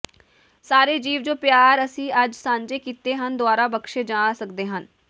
ਸਾਰੇ ਜੀਵ ਜੋ ਪਿਆਰ ਅਸੀਂ ਅੱਜ ਸਾਂਝੇ ਕੀਤੇ ਹਨ ਦੁਆਰਾ ਬਖਸੇ ਜਾ ਸਕਦੇ ਹਾਂ